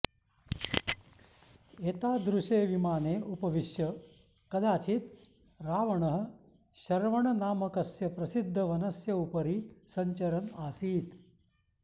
एतादृशे विमाने उपविश्य कदाचिद् रावणः शरवणनामकस्य प्रसिद्धवनस्य उपरि सञ्चरन् आसीत्